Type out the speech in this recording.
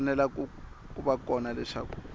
fanele ku va kona leswaku